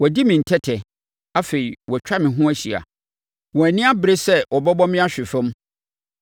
Wɔadi me ntɛtɛ, afei wɔatwa me ho ahyia; wɔn ani abere sɛ wɔbɛbɔ me ahwe fam.